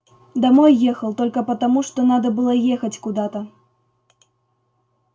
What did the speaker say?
домой ехал только потому что надо было ехать куда-то